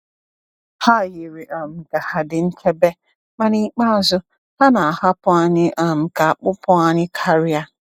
Ha yiri um ka ha dị nchebe, ma n’ikpeazụ, ha na-ahapụ anyị um ka a kpụpụ anyị karịa.